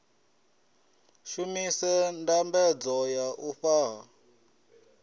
shumise ndambedzo ya u fhaṱa